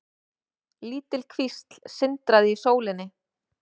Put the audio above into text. Lítil kvísl sindraði í sólinni.